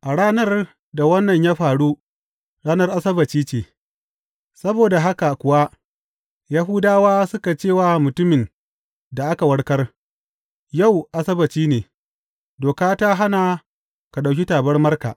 A ranar da wannan ya faru ranar Asabbaci ce, saboda haka kuwa Yahudawa suka ce wa mutumin da aka warkar, Yau Asabbaci ne; doka ta hana ka ɗauki tabarmarka.